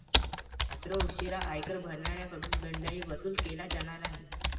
मात्र, उशिरा आयकर भरणाऱ्यांकडून दंडही वसूल केला जाणार आहे.